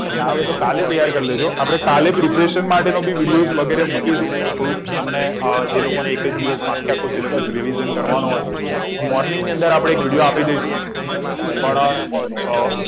હા તો કાલે તૈયાર કર લેજો આપડે કાલે preparation માટેનું video વગેરે મુકીશું થોડુક તમને જે લોકોને revision કરવાનું હોય આ morning અંદર video આપી દઈશું પણ અમ